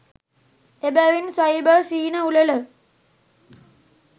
එබැවින් සයිබර් සිහින උළෙල